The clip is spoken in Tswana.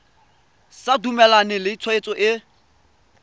sa dumalane le tshwetso e